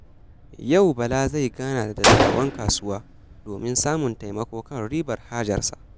Yau, Bala zai gana da dattawan kasuwa domin samun taimako kan ribar hajarsa.